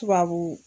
Tubabu